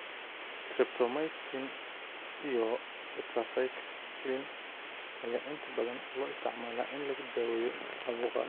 Streptomycin iyo tetracycline ayaa inta badan loo isticmaalaa in lagu daweeyo caabuqan.